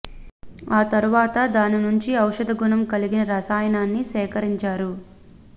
ఆ తరువాత దాని నుంచి ఔషధ గుణం కలిగిన రసాయనాన్ని సేకరించారు